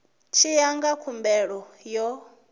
tshi ya ngauri khumbelo yo